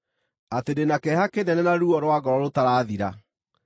atĩ ndĩ na kĩeha kĩnene na ruo rwa ngoro rũtarathira.